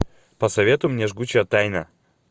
посоветуй мне жгучая тайна